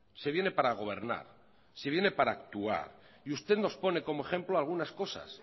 se viene para gobernar se viene para actuar y usted nos pone como ejemplo algunas cosas